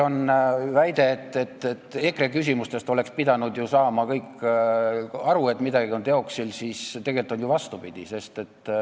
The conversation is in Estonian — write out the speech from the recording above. On väidetud, et EKRE küsimustest oleksid pidanud kõik aru saama, et midagi on teoksil, aga tegelikult on ju vastupidi.